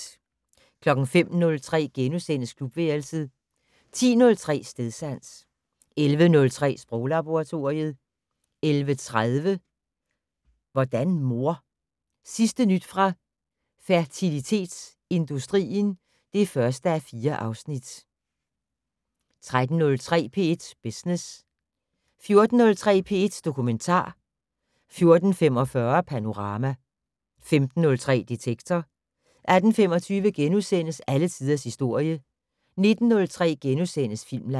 05:03: Klubværelset * 10:03: Stedsans 11:03: Sproglaboratoriet 11:30: Hvordan mor? Sidste nyt fra fertilitetsindustrien (1:4) 13:03: P1 Business 14:03: P1 Dokumentar 14:45: Panorama 15:03: Detektor 18:25: Alle tiders historie * 19:03: Filmland *